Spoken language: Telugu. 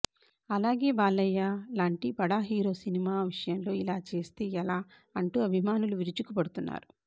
అలాగే బాలయ్య లాంటి బడా హీరో సినిమా విషయంలో ఇలా చేస్తే ఎలా అంటూ అభిమానులు విరుచుకుపడుతున్నారు